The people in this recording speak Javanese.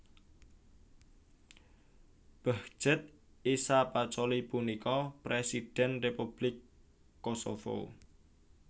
Behgjet Isa Pacolli punika Présidhèn Républik Kosovo